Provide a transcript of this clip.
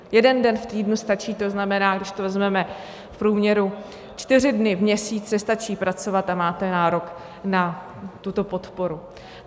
Jeden den v týdnu stačí, to znamená, když to vezmeme v průměru, čtyři dny v měsíci stačí pracovat a máte nárok na tuto podporu.